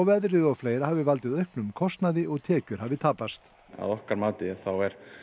veðrið og fleira hafi valdið auknum kostnaði og tekjur hafi tapast að okkar mati þá er